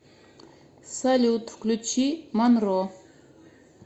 салют включи манро